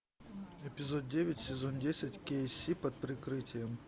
эпизод девять сезон десять кей си под прикрытием